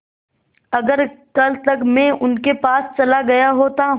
अगर कल तक में उनके पास चला गया होता